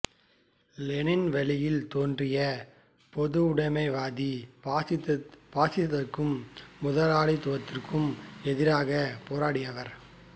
Lenin வழியில் தோன்றிய பொதுவுடைமைவாதி பாசிசத்திற்கும் முதலாளியத்திற்கும் எதிராகப் போராடியவர்